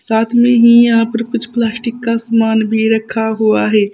साथ में ही यहां पर कुछ प्लास्टिक का समान भी रखा हुआ है।